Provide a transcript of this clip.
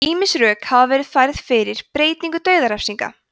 ýmis rök hafa verið færð fyrir beitingu dauðarefsinga